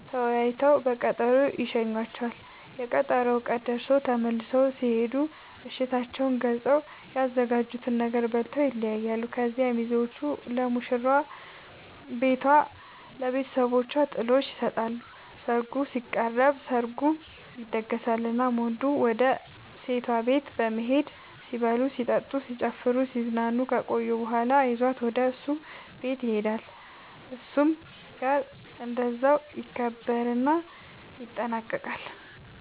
ተወያይተው በቀጠሮ ይሸኙዋቸዋል፤ የቀጠሮው ቀን ደርሶ ተመልሰው ሲሄዱ እሽታቸውን ገልፀው፤ ያዘጋጁትን ነገር በልተው ይለያያሉ። ከዚያ ሚዜዎቹ ለሙሽራዋ ቤቷ ለብተሰቦቿ ጥሎሽ ይሰጣሉ ሰርጉ ሲቃረብ፤ ሰርጉ ይደገሳል እናም ወንዱ ወደ ሴቷ ቤት በመሄድ ሲበሉ ሲጠጡ፣ ሲጨፍሩናሲዝናኑ ከቆዩ በኋላ ይዟት ወደ እሱ ቤት ይሄዳሉ እሱም ጋር እንደዛው ይከበርና ይጠናቀቃል